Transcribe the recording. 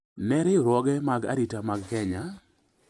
ne riwruoge mag arita mag Kenya,